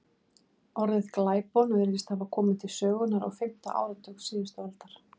Orðið glæpon virðist hafa komið til sögunnar á fimmta áratug síðustu aldar.